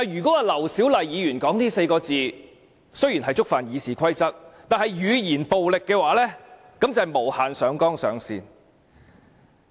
但是，劉小麗議員說出這4個字，雖然觸犯《議事規則》，但說這是語言暴力的話，便是無限上綱上線。